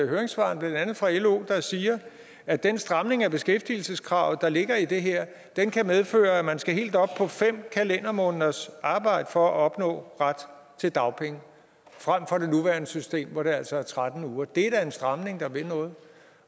høringssvarene blandt andet fra lo der siger at den stramning af beskæftigelseskravet der ligger i det her kan medføre at man skal helt op på fem kalendermåneders arbejde for at opnå ret til dagpenge frem for det nuværende system hvor det altså er tretten uger det er da en stramning der vil noget